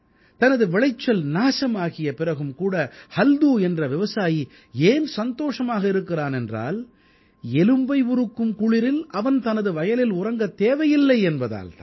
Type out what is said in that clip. தனது விளைச்சல் நாசமாகிய பிறகும் கூட ஹல்தூ என்ற விவசாயி ஏன் சந்தோஷமாக இருக்கிறான் என்றால் எலும்பை உருக்கும் குளிரில் அவன் தனது வயலில் உறங்கத் தேவையில்லை என்பதால் தான்